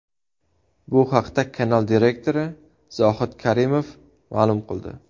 Bu haqda kanal direktori Zohid Karimov ma’lum qildi.